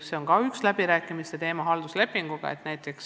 See on üks läbirääkimiste teema halduslepingute sõlmimisel.